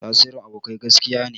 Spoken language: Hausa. Tasirin abokai gaskiya ne.